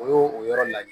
O y'o o yɔrɔ la de